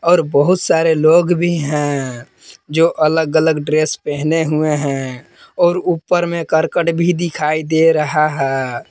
और बहुत सारे लोग भी हैं जो अलग अलग ड्रेस पहने हुए हैं और ऊपर में करकट भी दिखाई दे रहा है।